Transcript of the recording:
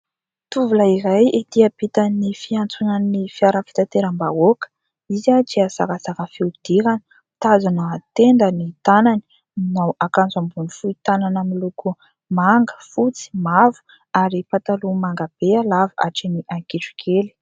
Tovolahy iray ety ampitan'ny fiantsonan'ny fiara fitateram-bahoaka. Izy dia zarazara fihodirana, mitazona tenda ny tanany. Manao akanjo ambony fohy tanana miloko manga, fotsy, mavo ary pataloha manga be lava hatreny an-kitrokely.